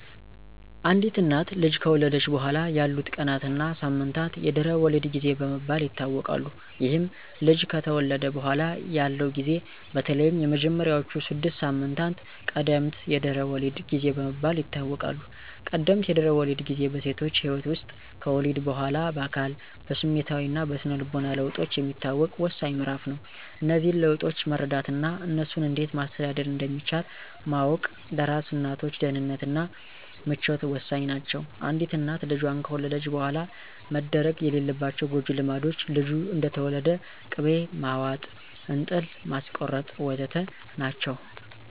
አንዲት እናት ልጅ ከወለደች በኋላ ያሉት ቀናት እና ሳምንታት የድህረ ወሊድ ጊዜ በመባል ይታወቃል። ይህም ልጅ ከተወለደ በኋላ ያለው ጊዜ በተለይም የመጀመሪያዎቹ ስድስት ሳምንታት ቀደምት የድህረ ወሊድ ጊዜ በመባል ይታወቃል። ቀደምት የድህረ ወሊድ ጊዜ በሴቶች ህይወት ውስጥ ከወሊድ በኋላ በአካል፣ በስሜታዊ እና በስነ ልቦና ለውጦች የሚታወቅ ወሳኝ ምዕራፍ ነው። እነዚህን ለውጦች መረዳት እና እነሱን እንዴት ማስተዳደር እንደሚቻል ማወቅ ለአራስ እናቶች ደህንነት እና ምቾት ወሳኝ ናቸው። አንዲት እናት ልጇን ከወለደች በኋላ መደረግ የሌለባቸው ጎጅ ልማዶች፣ ልጁ እንደተወለደ ቅቤ ማዋጥ፣ እንጥል ማስቆረጥ... ወ.ዘ.ተ. ናቸው።